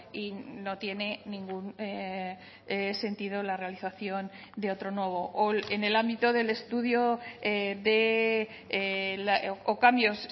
y no tiene ningún sentido la realización de otro nuevo o en el ámbito del estudio o cambios